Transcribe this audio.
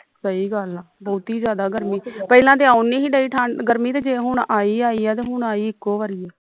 ਸਹੀ ਗੱਲ ਆ ਬਹੁਤੀ ਜਿਆਦਾ ਗਰਮੀ ਪਹਿਲਾਂ ਤੇ ਆਉਣ ਨਹੀਂ ਦਈ ਠੰਡ ਗਰਮੀ ਤੇ ਜੇ ਹੁਣ ਆਈ ਆਈ ਤਾਂ ਹੁਣ ਆਈ ਇਕੋ ਵਾਰੀਂ ਆ